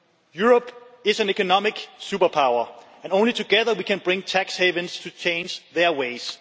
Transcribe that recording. Europe is an economic superpower, and only together can we bring tax havens to change their ways.